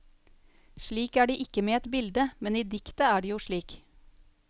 Slik er det ikke med et bilde, men i diktet er det jo slik.